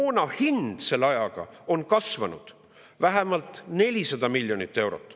Moona hind on selle ajaga kasvanud vähemalt 400 miljonit eurot.